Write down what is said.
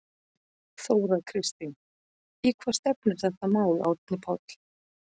Þóra Kristín: Í hvað stefnir þetta mál Árni Páll?